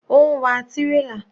Ó ń wa tírélà.